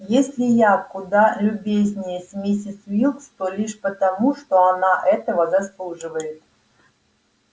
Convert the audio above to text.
если я куда любезнее с миссис уилкс то лишь потому что она этого заслуживает